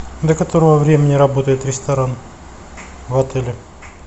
до которого времени работает ресторан в отеле